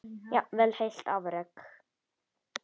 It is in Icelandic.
Jafnvel heilt afrek?